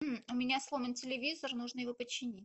у меня сломан телевизор нужно его починить